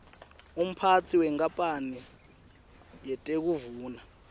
umphatsi wenkapane yetekuvuna